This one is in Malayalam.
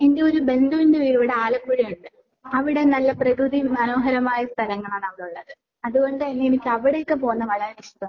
എന്റെ ഒരു ബന്ധുവിന്റെ വീട് ഇവിടെ ആലപ്പുഴയുണ്ട്. അവിടെ നല്ല പ്രകൃതി മനോഹരമായ സ്ഥലങ്ങളാണ് അവിടെയുള്ളത്. അതുകൊണ്ടുതന്നെ എനിക്ക് അവിടേക്ക് പോകുന്നത് വളരെ ഇഷ്ടാണ്.